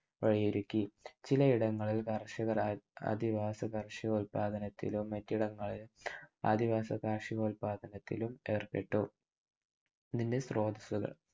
വഴിയൊരുക്കി. ചില ഇടങ്ങളിൽ കർഷകർ അധിവാസ കർഷികോല്പാദനത്തിലും മറ്റിടങ്ങളിൽ അധിവാസ കർഷികോല്പാദനത്തിലും ഏർപ്പെട്ടു. മിനി സ്രോതസുകൾ